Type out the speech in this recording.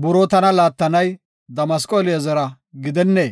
buroo tana laattanay Damasqo Eli7azara gidennee?